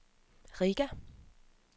Riga